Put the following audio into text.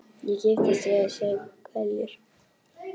Ég kipptist við og saup hveljur.